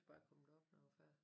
Bare komme derop når jeg var færdig